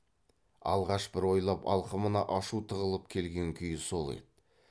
алғаш бір ойлап алқымына ашу тығылып келген күйі сол еді